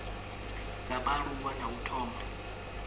dza vhaaluwa na u thoma